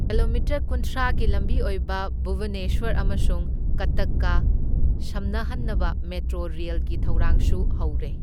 Kilometre ꯀꯨꯟꯊ꯭ꯔꯥꯒꯤ ꯂꯝꯕꯤ ꯑꯣꯏꯕ ꯚꯨꯕꯅꯦꯁ꯭ꯋꯔ ꯑꯃꯁꯨꯡ ꯀꯠꯇꯛꯀ ꯁꯝꯅꯍꯟꯅꯕ ꯃꯦꯇ꯭ꯔꯣ ꯔꯦꯜꯒꯤ ꯊꯧꯔꯥꯡꯁꯨ ꯍꯧꯔꯦ꯫